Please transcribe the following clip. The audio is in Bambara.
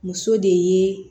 Muso de ye